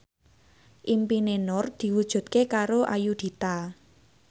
impine Nur diwujudke karo Ayudhita